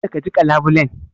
Kada ka jiƙa labulen.